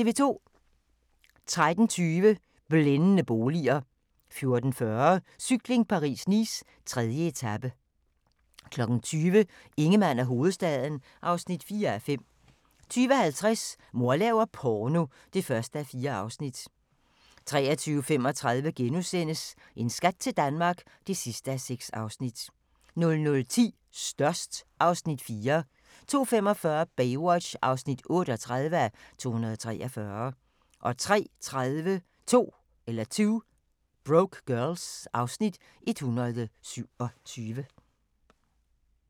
13:20: Blændende boliger 14:40: Cykling: Paris-Nice - 3. etape 20:00: Ingemann og hovedstaden (4:5) 20:50: Mor laver porno (1:4) 23:35: En skat til Danmark (6:6)* 00:10: Størst (Afs. 4) 02:45: Baywatch (38:243) 03:30: 2 Broke Girls (Afs. 127)